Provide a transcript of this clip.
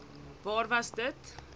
waar was dit